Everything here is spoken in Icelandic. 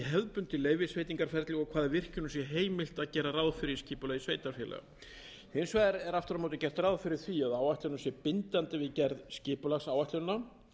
hefðbundið leyfisveitingaferli og hvaða virkjunum sé heimilt að gera ráð fyrir í skipulagi sveitarfélaga hins vegar er aftur á móti gert ráð fyrir því að áætlunin sé bindandi við gerð skipulagsáætlana